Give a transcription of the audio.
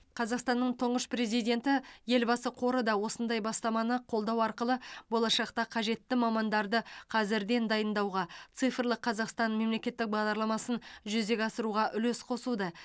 қазақстанның тұңғыш президенті елбасы қоры да осындай бастаманы қолдау арқылы болашақта қажетті мамандарды қазірден дайындауға цифрлық қазақстан мемлекеттік бағдарламасын жүзеге асыруға үлес қосуда